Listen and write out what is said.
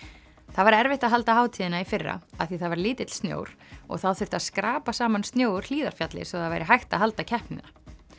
það var erfitt að halda hátíðina í fyrra af því það var lítill snjór og þá þurfti að skrapa saman snjó úr Hlíðarfjalli svo það væri hægt að halda keppnina